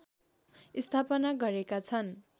स्थापना गरेका छन्